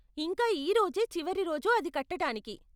ఇంకా ఈరోజే చివరి రోజు అది కట్టటానికి.